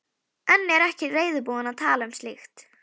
En er ekki reiðubúin að tala um slíkt.